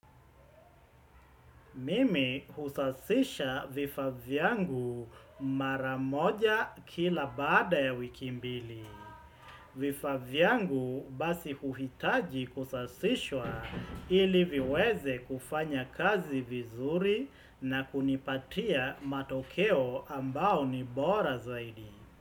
Mimi husafisha vifaa vyangu mara moja kila baada ya wiki mbili. Vifaa vyangu basi huhitaji kusafishwa ili viweze kufanya kazi vizuri na kunipatia matokeo ambayo ni bora zaidi.